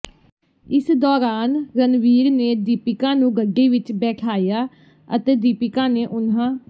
ਇਸ ਦੌਰਾਨ ਰਣਵੀਰ ਨੇ ਦੀਪਿਕਾ ਨੂੰ ਗੱਡੀ ਵਿੱਚ ਬੈਠਾਇਆ ਅਤੇ ਦੀਪਿਕਾ ਨੇ ਉਨ੍ਹਾਂ